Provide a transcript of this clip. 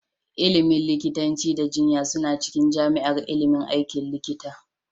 Ilimin likitanci da jinya suna cikin jami'ar ilimin aikin likita